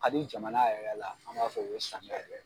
Ka di jamana yɛrɛ la an b'a fɔ o ye samiya ye